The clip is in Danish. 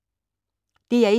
DR1